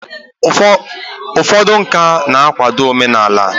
ụfọdụ nka na-akwado omenala